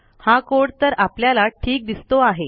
हा कोड तर आपल्याला ठीक दिसतो आहे